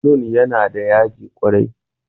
barkonon yana da yaji kwarai